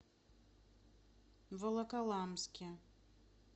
волоколамске